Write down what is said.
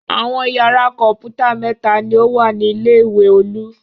Àwọn ìyàrá kọ̀ǹpútà mẹ́ta ni ó wà ní ilé-ìwé Olú.